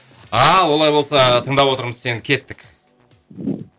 ал олай болса тыңдап отырмыз сені кеттік